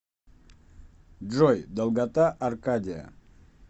джой долгота аркадия